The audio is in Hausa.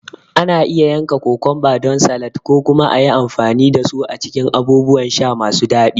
Ana iya yanka kokumba don salad ko kuma a yi amfani da su a cikin abubuwan sha masu daɗi.